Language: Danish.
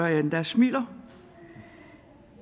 jeg endda smiler